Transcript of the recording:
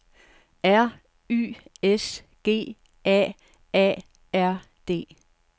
R Y S G A A R D